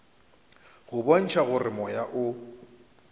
go bontšha gore moya o